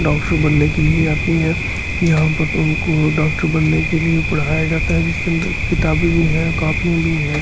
Doctor बनने के लिए आती हैं यहां पर तो उनको डॉक्टर बनने के लिए पढ़ाया जाता है जिसके अंदर किताबें भी हैं कॉपी भी है।